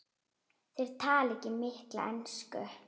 Þeir tala ekki mikla ensku.